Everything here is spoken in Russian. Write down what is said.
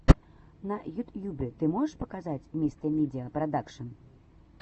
на ютьюбе ты можешь показать мистэ медиа продакшен